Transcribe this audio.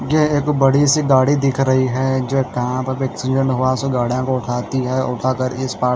यह एक बड़ी सी गाड़ी दिख रही है जो कहां पर भी एक्सीडेंट हुआ सो गाड़ियां को उठाती है उठा कर इस पार--